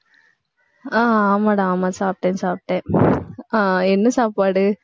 ஆஹ் ஆமாடா ஆமா சாப்பிட்டேன், சாப்பிட்டேன் ஆஹ் என்ன சாப்பாடு